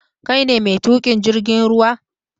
Kai ne mai tuƙin jirgin ruwa?